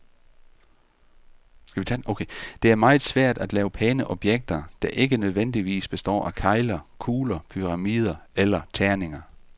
Det er meget svært at lave pæne objekter, der ikke nødvendigvis består af kegler, kugler, pyramider eller terninger.